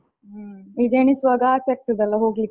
ಹ್ಮ್ ಈಗ ಎಣಿಸ್ವಾಗ ಆಸೆ ಆಗ್ತದೆ ಅಲಾ ಹೋಗ್ಲಿಕ್ಕೆ.